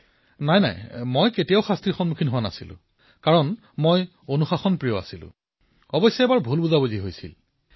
প্ৰধানমন্ত্ৰীঃ নহয় মই এনে অভিজ্ঞতাৰ সন্মুখীন হোৱা নাই কাৰণ মই এজন নিয়মানুৱৰ্তিতা পালন কৰা লৰা আছিলো কিন্তু এবাৰ ভুল বুজাবুজিৰ সৃষ্টি হৈছিল